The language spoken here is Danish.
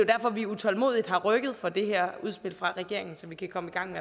derfor at vi utålmodigt har rykket for det her udspil fra regeringen så vi kan komme i gang